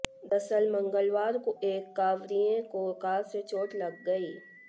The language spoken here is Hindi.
दरअसल मंगलवार को एक कांवड़िये को कार से चोट लग गई